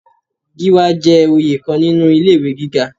Gíwá jẹ́ oyè kan nínú ilé ìwé gíga.